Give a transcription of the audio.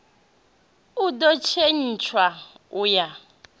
u do tshintsha u ya